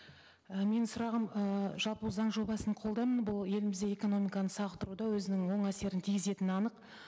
і менің сұрағым ы жалпы заң жобасын қолдаймын бұл елімізде экономиканы сауықтыруда өзінің оң әсерін тигізетіні анық